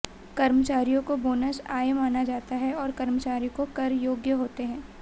कर्मचारियों को बोनस आय माना जाता है और कर्मचारी को कर योग्य होते हैं